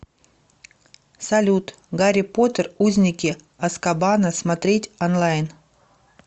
салют гарри потер узники азкабана смотреть онлайн